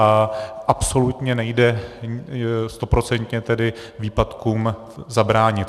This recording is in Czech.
A absolutně nejde stoprocentně tedy výpadkům zabránit.